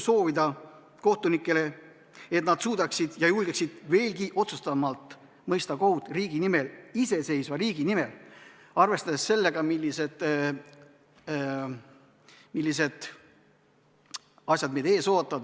Soovin kohtunikele julgust ja jõudu, et nad suudaksid ja julgeksid veelgi otsustavamalt mõista kohut meie riigi nimel, iseseisva riigi nimel, arvestades sellega, millised asjad meid ees ootavad.